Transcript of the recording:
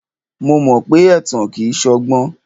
Mo mọ pé ẹ̀tàn kìí ṣọgbọ́n.